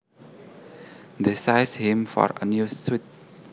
They sized him for a new suit